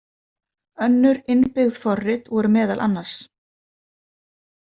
Önnur innbyggð forrit voru meðal annars.